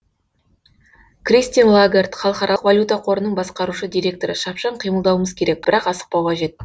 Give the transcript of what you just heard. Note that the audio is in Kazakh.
кристин лагард халықаралық валюта қорының басқарушы директоры шапшаң қимылдауымыз керек бірақ асықпау қажет